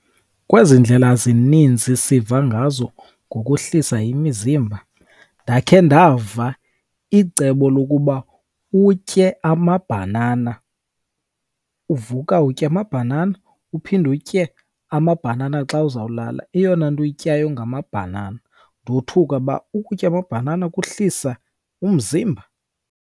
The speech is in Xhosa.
Kwezi ndlela zininzi siva ngazo ngokuhlisa imizimba ndakhe ndava icebo lokuba utye amabhanana. Uvuka utye amabhanana uphinde utye amabhanana xa uzawulala, eyona nto oyityayo ngamabhanana. Ndothuka uba ukutya amabhanana kuhlisa umzimba?